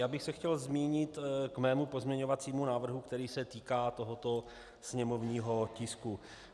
Já bych se chtěl zmínit ke svému pozměňovacímu návrhu, který se týká tohoto sněmovního tisku.